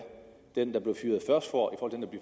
den der blev